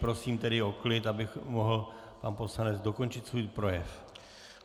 Prosím tedy o klid, aby mohl pan poslanec dokončit svůj projev.